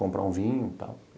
Comprar um vinho e tal.